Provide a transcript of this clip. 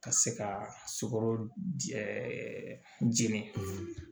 Ka se ka sukaro jɛnɛ